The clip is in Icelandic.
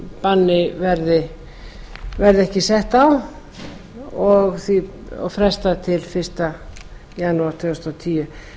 það bann verði ekki sett á og frestað til fyrsta janúar tvö þúsund og tíu